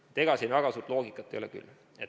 Nii et ega siin väga suurt loogikat ei ole küll.